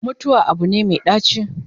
mutuwa Abu ne Mai ɗaci